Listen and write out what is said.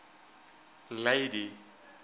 lady